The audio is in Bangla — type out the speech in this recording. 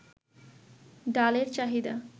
ডালের চাহিদা